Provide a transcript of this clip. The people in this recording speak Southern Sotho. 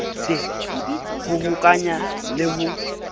d ho hokahanya le ho